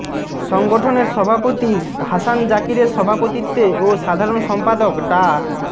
সংগঠনের সভাপতি হাসান জাকিরের সভাপতিত্বে ও সাধারণ সম্পাদক ডা